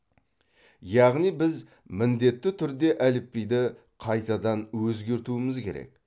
яғни біз міндетті түрде әліпбиді қайтадан өзгертуіміз керек